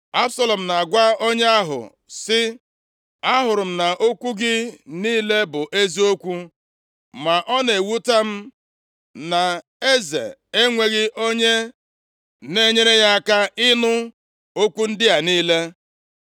Absalọm na-agwa onye ahụ sị, “Ahụrụ m na okwu gị niile bụ eziokwu. Ma ọ na-ewute m na eze enweghị onye na-enyere ya aka ịnụ okwu ndị a niile.”